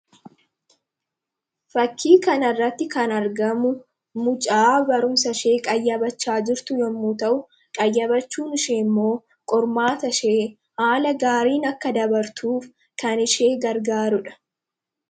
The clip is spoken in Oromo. Fakkii kana irratti kan argamu mucaa barumsa ishee qayyabachaa jirtu yemmuu ta'u, qayyabachuun ishee immoo qormaata ishee haala gaariin akka dabartuuf kan ishee gargaarudha.